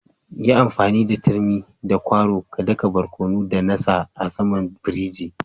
Yi amfani da turmi da kwaro ka da ka barkono da na sa a'saman firiji.